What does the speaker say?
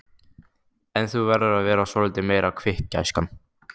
En þú verður að vera svolítið meira kvikk, gæskan.